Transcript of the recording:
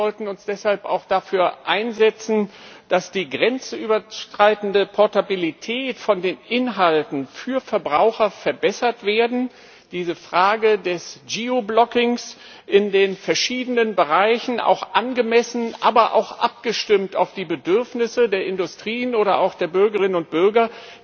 Wir sollten uns deshalb auch dafür einsetzen, dass die grenzüberschreitende Portabilität der Inhalte für Verbraucher verbessert wird, dieser Frage des Geoblockings in den verschiedenen Bereichen angemessen, aber auch abgestimmt auf die Bedürfnisse der Industrien oder auch der Bürgerinnen und Bürger